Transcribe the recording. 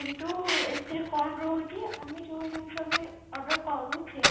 କିନ୍ତୁ ଏଥିରେ କଣ ରହୁଛି ଆମେ ଯଉ ଜିନିଷ ବି order କରୁଛେ